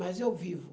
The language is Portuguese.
Mas eu vivo.